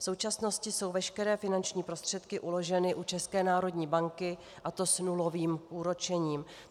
V současnosti jsou veškeré finanční prostředky uloženy u České národní banky, a to s nulovým úročením.